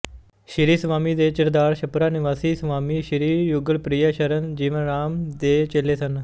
ਸ਼੍ਰੀ ਸਵਾਮੀ ਜੀ ਚਿਰਾਂਦ ਛਪਰਾ ਨਿਵਾਸੀ ਸਵਾਮੀ ਸ਼੍ਰੀ ਯੁਗਲਪ੍ਰਿਆ ਸ਼ਰਨ ਜੀਵਾਰਾਮ ਦੇ ਚੇਲੇ ਸਨ